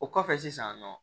O kɔfɛ sisan nɔ